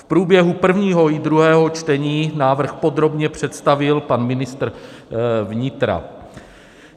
V průběhu prvního i druhého čtení návrh podrobně představil pan ministr vnitra.